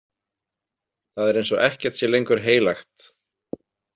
Það er eins og ekkert sé lengur heilagt.